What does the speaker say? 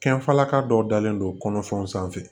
Kɛnfalaka dɔw dalen don kɔnɔfɛnw sanfɛ